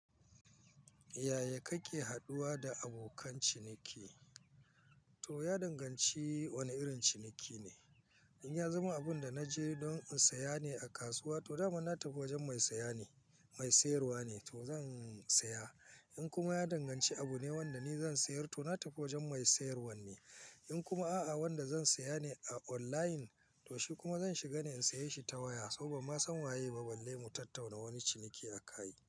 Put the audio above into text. Yaya kake haduwa da abokan ciniki? To ya danganci wane irin ciniki ne. In ya zama abun da na je don in saya ne a kasuwa, to daman na tafi wajen mai sayarwa ne to zan saya. In kuma ya danganci abune wanda ni zan sayar, to natafi wajen mai sayarwan ne. In kuma a'a, wanda zan saya ne a online, to shi kuma zan shiga ne in sayi shi ta waya. Saboda ban ma san waye ba balle mu tattauna wani ciniki a kai.